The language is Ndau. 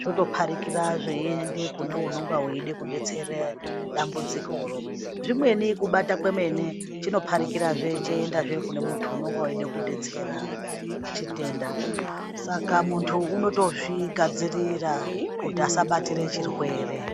zvotopharikira zveienda kune unenge eida kudetsera dambudzikoro zvimweni kubata kwene chinotopharikirazve cheiendazve kune muntu unenge eida kudetsera chitenda saka muntu unotozvigadzirira kuti asabatira chirwere.